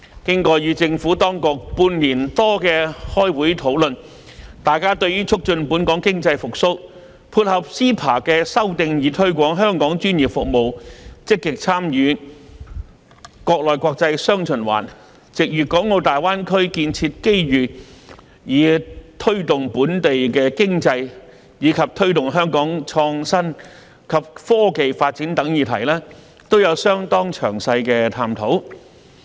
經過與政府當局半年多的開會討論，大家對於促進本地經濟復蘇，配合 CEPA 的修訂以推廣香港專業服務，積極參與"國內國際雙循環"，藉粵港澳大灣區建設機遇以推動本地經濟，以及推動香港創新及科技發展等議題，有相當詳細的探討。